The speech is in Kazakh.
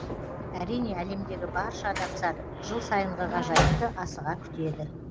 әрине әлемдегі барша адамзат жыл сайынғы ғажайыпты асыға күтеді